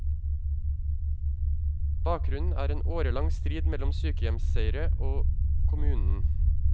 Bakgrunnen er en årelang strid mellom sykehjemseiere og kommunen.